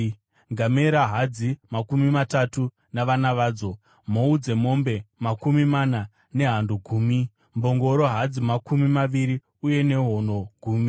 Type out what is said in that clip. ngamera hadzi, makumi matatu navana vadzo, mhou dzemombe makumi mana nehando gumi, mbongoro hadzi makumi maviri uye nehono gumi.